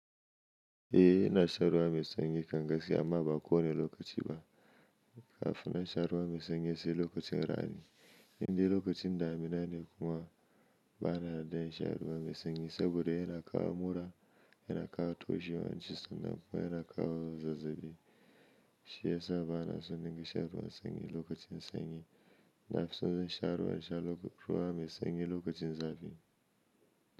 Eh ina shan ruwa mai sanyi kam gaskiya amma ba ko ne lokacin ba. Kafun na sha ruwa mai sanyi sai lokacin rani. Indai lokacin daminaneh kuma bana dai shan ruwa mai sanyi saboda yana kawo mura, yana kawo toshewar hanci sannan kuma yana kawo zazzabi. Shi yasa bana son dinga shan ruwan sanyi lokacin sanyi. Nafison in zan sha ruwa ruwa mai sanyi lokacin zafi.